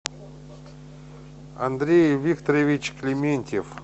андрей викторович клементьев